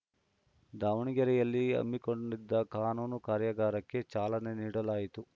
ದಾವಣಗೆರೆಯಲ್ಲಿ ಹಮ್ಮಿಕೊಂಡಿದ್ದ ಕಾನೂನು ಕಾರ್ಯಾಗಾರಕ್ಕೆ ಚಾಲನೆ ನೀಡಲಾಯಿತು